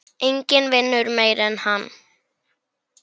Enginn vinnur meira en hann.